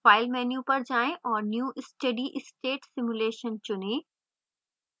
file menu पर जाएँ और new steadystate simulation चुनें